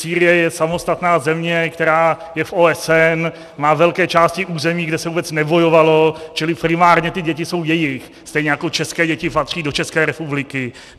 Sýrie je samostatná země, která je v OSN, má velké části území, kde se vůbec nebojovalo, čili primárně ty děti jsou jejich, stejně jako české děti patří do České republiky.